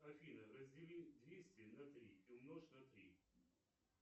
афина раздели двести на три и умножь на три